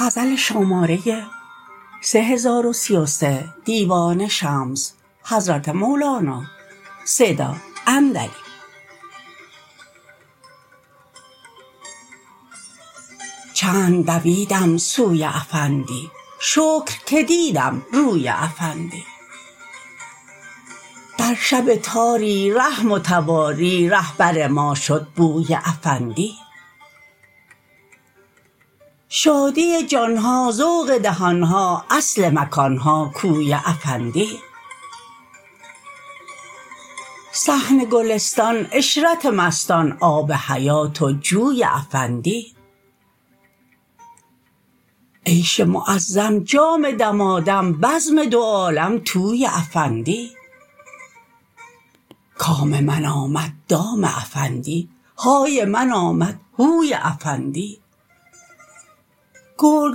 چند دویدم سوی افندی شکر که دیدم روی افندی در شب تاری ره متواری رهبر ما شد بوی افندی شادی جان ها ذوق دهان ها اصل مکان ها کوی افندی صحن گلستان عشرت مستان آب حیات و جوی افندی عیش معظم جام دمادم بزم دو عالم طوی افندی کام من آمد دام افندی های من آمد هوی افندی گرگ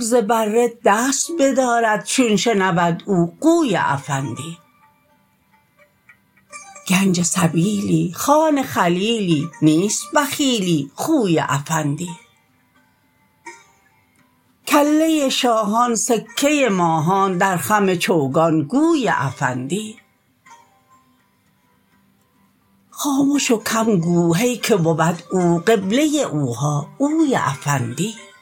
ز بره دست بدارد چون شنود او قوی افندی گنج سبیلی خوان خلیلی نیست بخیلی خوی افندی کله شاهان سکه ماهان در خم چوگان گوی افندی خامش و کم گو هی کی بود او قبله اوها اوی افندی